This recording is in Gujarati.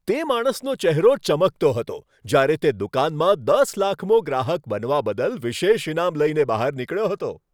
તે માણસનો ચહેરો ચમકતો હતો જ્યારે તે દુકાનમાં દસ લાખમો ગ્રાહક બનવા બદલ વિશેષ ઈનામ લઈને બહાર નીકળ્યો હતો.